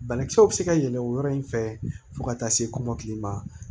Banakisɛw bɛ se ka yɛlɛ o yɔrɔ in fɛ fo ka taa se kɔmɔkili ma